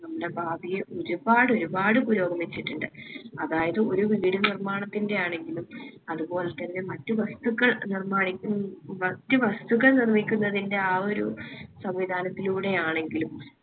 നമ്മുടെ ഭാവിയെ ഒരുപാട് ഒരുപാട് പുരോഗമിച്ചിട്ടിണ്ട് അതായത് ഒരു വീട് നിർമാണത്തിന്റെ ആണെങ്കിലും അത് പോലെത്തന്നെ മറ്റു വസ്തുക്കൾ നിർമാനിക്ക് ന്ന്‌ മറ്റു വസ്തുക്കൾ നിർമ്മിക്കുന്നതിന്റെ ആ ഒരു സംവിധാനത്തിലൂടെ ആണെങ്കിലും